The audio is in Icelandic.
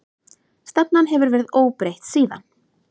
Stefnan hefur verið óbreytt síðan.